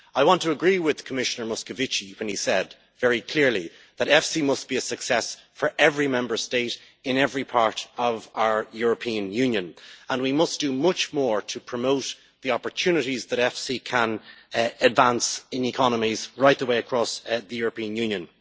I want to agree with Commissioner Moscovici when he said very clearly that EFSI must be a success for every Member State in every part of our European Union, and we must do much more to promote the opportunities that EFSI can advance in economies right the way across the European Union.